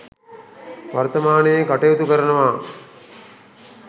වර්ථමානයේ කටයුතු කරනවා